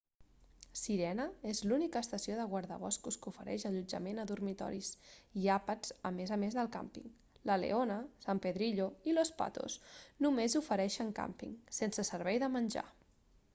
sirena és l'única estació de guardaboscos que ofereix allotjament a dormitoris i àpats a més a més del càmping la leona san pedrillo i los patos només ofereixen càmping sense servei de menjar